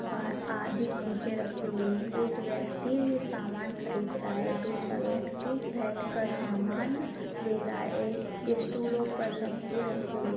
अ आदि चीज़ें रखी हुयी हैं। एक यक्ति सामान खरीद रहा है दूसरा यक्ति बैठे कर सामान दे रहा है। एक स्टूलो पर सब्जियां रखी हुई --